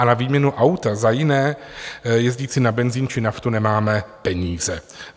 A na výměnu auta za jiné, jezdící na benzin či naftu, nemáme peníze.